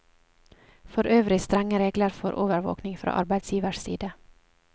For øvrig strenge regler for overvåking fra arbeidsgivers side.